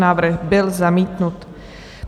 Návrh byl zamítnut.